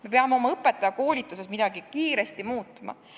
Me peame oma õpetajakoolituses midagi kiiresti muutma.